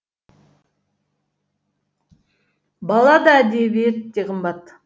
бала да әдебиет те қымбат